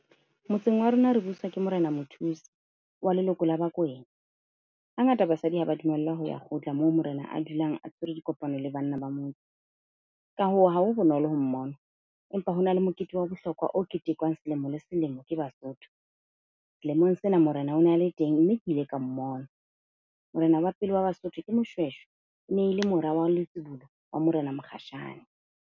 Motseng wa rona re buswa ke Morena Mothusi wa leloko la Bakwena. Hangata basadi ha ba dumellwa ho ya kgotla moo morena a dulang a tshwere dikopano le banna ba motse. Ka hoo ha ho bonolo ho mmona, empa ho na le mokete wa bohlokwa o ketekwang selemo le selemo ke Basotho. Selemong sena morena o na le teng, mme ke ile ka mmona. Morena wa pele wa Basotho ke Moshweshwe. E ne le mora wa letsibulo wa Morena Mokgashane.